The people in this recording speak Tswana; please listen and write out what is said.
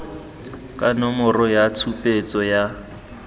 ka nomoro ya tshupetso ya